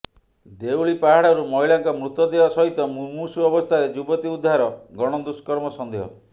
ଦେଉଳୀ ପାହାଡରୁ ମହିଳାଙ୍କ ମୃତ ଦେହ ସହିତ ମୂମୂର୍ଷୁ ଅବସ୍ଥାରେ ଯୁବତୀ ଉଦ୍ଧାର ଗଣଦୃର୍ଷ୍କମ ସନ୍ଦେହ